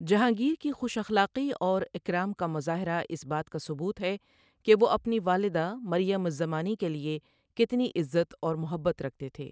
جہانگیر کی خوش اخلاقی اور اکرام کا مظاہرہ اس بات کا ثبوت ہے کہ وہ اپنی والدہ مریم الزمانی کے لیے کتنی عزت اور محبت رکھتے تھے۔